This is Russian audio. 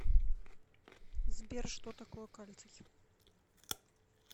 сбер что такое кальций